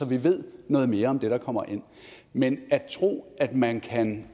vi ved noget mere om det der kommer ind men at tro at man kan